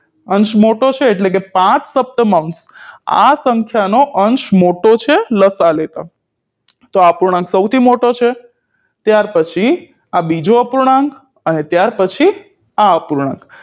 અંશ મોટો છે એટલે કે પાંચ સપ્તમાંશ આ સંખ્યાનો અંશ મોટો છે લસાઅ લેતા તો આ અપૂર્ણાંક સૌથી મોટો છે ત્યાર પછી આ બીજો અપૂર્ણાંક અને ત્યાર પછી આ આપૂર્ણાંક